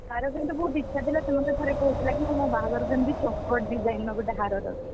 ତାର କିନ୍ତୁ ବହୁତ ଇଚ୍ଛା ଥିଲା ସେ ମତେ ଥରେ କହୁଥିଲା ମୁଁ ଏମିତି ମୋ ବାହାଘରକୁ ଚକର design ର ଗୋଟେ ହାର